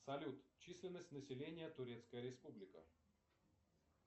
салют численность населения турецкая республика